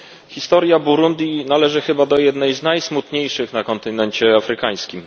Historia Burundi należy chyba do jednej z najsmutniejszych na kontynencie afrykańskim.